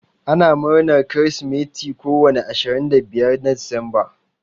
Ana murnar kirsimati ko wani ashirin da biyar na decemba.